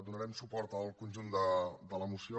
donarem suport al conjunt de la moció